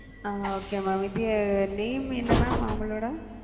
அ okay mam இது name என்ன mam அவங்களோட,